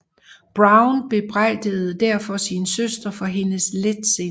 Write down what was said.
Browne bebrejdede derfor sin søster for hendes letsind